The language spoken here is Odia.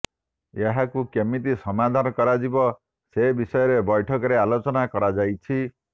ଏହାକୁ କେମିତି ସମାଧାନ କରାଯିବ ସେ ବିଷୟରେ ବୈଠକରେ ଆଲୋଚନା କରାଯାଇଛି